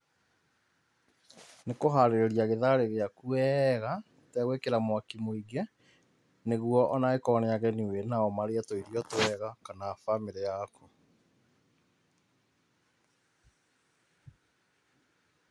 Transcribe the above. Nĩ kũharĩria gĩtharĩ gĩaku wega ũtegwĩkĩra mwaki mũingĩ, nĩguo ona angĩkorwo nĩ ageni wĩ nao mare tũirio twega kana bamĩrĩ yaku.